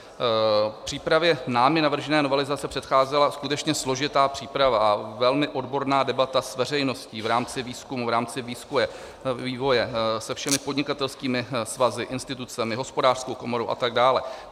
V případě námi navržené novelizace předcházela skutečně složitá příprava a velmi odborná debata s veřejností v rámci výzkumu, v rámci vývoje, se všemi podnikatelskými svazy, institucemi, Hospodářskou komorou atd.